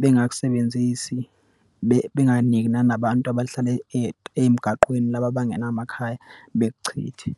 bengakusebenzisi, benganiki nanabantu abahlala emgaqweni, laba abangena makhaya. Bekuchithe.